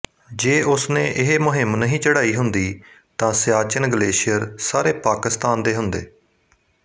ਜੇ ਉਸਨੇ ਇਹ ਮੁਹਿੰਮ ਨਹੀਂ ਚੜਾਈ ਹੁੰਦੀ ਤਾਂ ਸਿਆਚਿਨ ਗਲੇਸ਼ੀਅਰ ਸਾਰੇ ਪਾਕਿਸਤਾਨ ਦੇ ਹੁੰਦੇ